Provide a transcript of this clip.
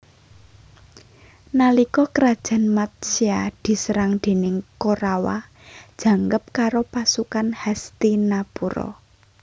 Nalika Krajan Matsya diserang déning Korawa jangkep karo pasukan Hastinapura